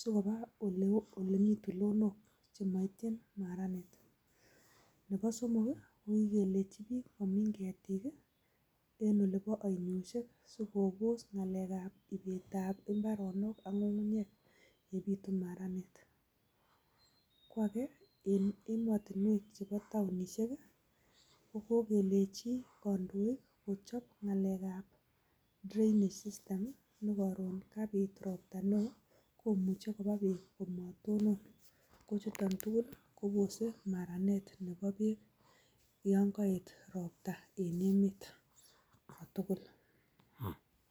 sikoba ole mi tulondok chemaitchin maranet nebo somok ko kikelechi biik komin ketik en oleba ainosyek si kobos ngalekab ibeetab mbaronok ak ngungunyek yebitu maranet kwage en ematinwek chebo townisiek ko kokelechi kandoik kochab ngalekab drainage system amu karon karobon ropta neoo komuche koba beek komatonon ,kochuton tugul kobose maranet nebo beek yan kaet ropta en emet